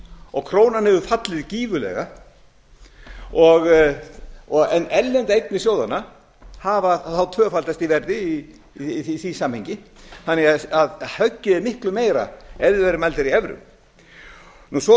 og krónan hefur fallið gífurlega en erlendar eignir sjóðanna hafa tvöfaldast í verði í því samhengi þannig að höggið er miklu meira ef þær hefðu verið mældar í evrum svo